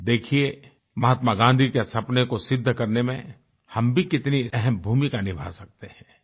देखिये महात्मा गाँधी के सपने को सिद्ध करने में हम भी कितनी अहम भूमिका निभा सकते हैं